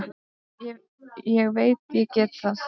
Ég veit ég get það.